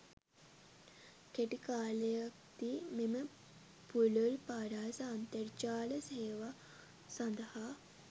කෙටිකාලයක්දී මෙම පුලුල් පරාස අන්තර්ජාල සෙවා සදහා